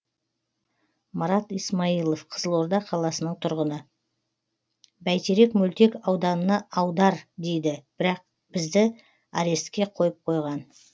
марат исмаилов қызылорда қаласының тұрғыны бәйтерек мөлтек ауданына аудар дейді бірақ бізді арестке қойып қойған